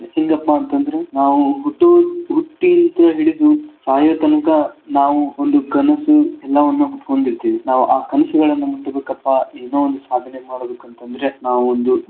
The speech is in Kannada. ಹೆಂಗಪಾ ಅಂತಂದ್ರೆ ನಾವು ಹುಟ್ಟೂದ್ ಹುಟ್ಟೀತ್ರ ಹಿಡದು ಸಾಯೋತಂಕ ನಾವು ಒಂದು ಕನಸು ಎಲ್ಲಾವನ್ನ ಹೊತ್ಕೊಂಡಿರ್ತೀವಿ ನಾವ್ ಆ ಕನಸುಗಳನ್ ಮುಟ್ಬೇಕಪ್ಪಾ ಏನೋ ಒಂದ್ ಸಾಧನೆ ಮಾಡ್ಬೇಕಂತಂದ್ರೆ ನಾವೊಂದು.